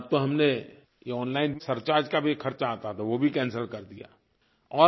और अब तो हमने ये ओनलाइन सरचार्ज का भी ख़र्चा आता था वो भी कैंसेल कर दिया है